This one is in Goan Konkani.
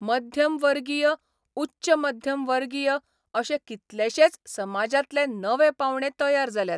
मध्यमवर्गीय उच्च मध्यमवर्गीय अशे कितलेशेच समाजांतले नवे पावंडे तयार जाल्यात.